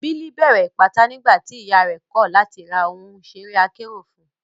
Billy bẹ̀rẹ̀ Ìpátá nígbà tí ìyà rẹ̀ kọ̀ láti ra ohun ìṣeré akérò fún un.